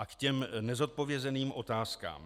A k těm nezodpovězeným otázkám.